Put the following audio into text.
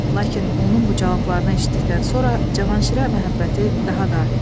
Lakin onun bu cavablarını eşitdikdən sonra Cavanşirə məhəbbəti daha da artdı.